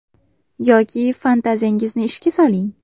Yoki fantaziyangizni ishga soling.